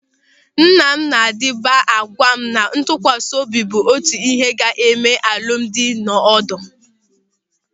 Nna m na-adịba agwa m na ntụkwasị obi bụ otu ịhe ga-eme ka alụmdi nọọ ọdụ.